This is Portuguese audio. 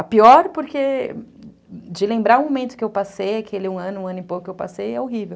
A pior porque de lembrar o momento que eu passei, aquele um ano, um ano e pouco que eu passei, é horrível.